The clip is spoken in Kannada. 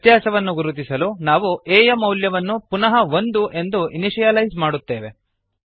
ವ್ಯತ್ಯಾಸವನ್ನು ಗುರುತಿಸಲು ನಾವು a ಯ ಮೌಲ್ಯವನ್ನು ಪುನಃ ಒಂದು ಎಂದು ಇನಿಶಿಯಲೈಸ್ ಮಾಡುತ್ತೇವೆ